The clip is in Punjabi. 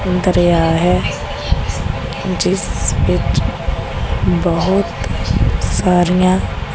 ਦਰਿਆ ਹੈ ਜਿਸ ਵਿੱਚ ਬਹੁਤ ਸਾਰੀਆਂ--